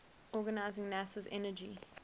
organizing nasa's energy